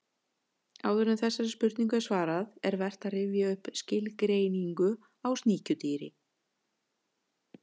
Áður en þessari spurningu er svarað er vert að rifja upp skilgreiningu á sníkjudýri.